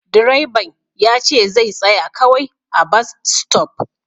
Direban yace zai tsaya kawai a'bas stop.